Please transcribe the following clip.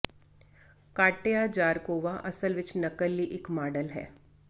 Katya Zharkova ਅਸਲ ਵਿੱਚ ਨਕਲ ਲਈ ਇਕ ਮਾਡਲ ਹੈ